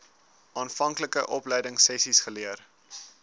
aanvanklike opleidingsessies geleer